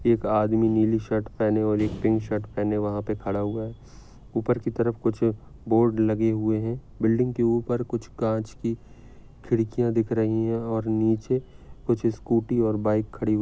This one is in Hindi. एक आदमी नीली शर्ट पहने हुई और एक पिंक पहने हुआ वहा पे खडा हुआ है। उपर की तरफ कुछ बोर्ड लगे हुए है बिल्डिंग के उपर कुछ काँच की खिड़कीया दिख रही है और नीचे कुछ स्कूटी और बाइक खड़ी--